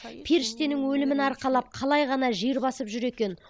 періштенің өлімін арқалап қалай ғана жер басып жүр екен